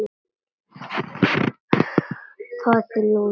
Fáðu þér lúr.